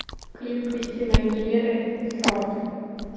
клип кристины агилеры херт